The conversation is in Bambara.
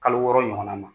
Kalo wɔɔrɔ ɲɔgɔn na ma